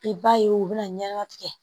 I b'a ye u bɛna ɲɛgɛn tigɛ